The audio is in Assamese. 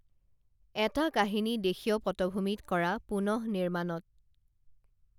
এটা কাহিনী দেশীয় পটভূমিত কৰা পুনঃনিৰ্মাণত